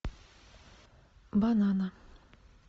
банана